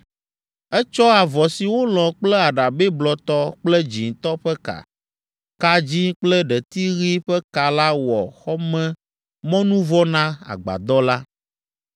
Etsɔ avɔ si wolɔ̃ kple aɖabɛ blɔtɔ kple dzĩtɔ ƒe ka, ka dzĩ kple ɖeti ɣi ƒe ka la wɔ xɔmemɔnuvɔ na agbadɔ la.